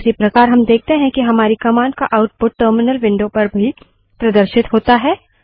उसी प्रकार हम देखते हैं कि हमारी कमांड का आउटपुट टर्मिनल विंडो पर भी प्रदर्शित होता है